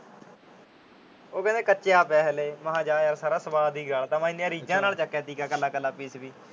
ਉਹ ਕਹਿੰਦੇ ਕੱਚਾ ਪਿਆ ਹਾਲੇ। ਮੈ ਜਾ ਯਾਰ ਸਾਰਾ ਸਵਾਦ ਹੀ ਗਾਲਤਾ। ਮੈਂ ਇੰਨੀਆਂ ਰੀਝਆਂ ਨਾਲ ਚੱਕਿਆ ਸੀ ਕੱਲਾ ਕੱਲਾ ਪੀਸ ਵੀ।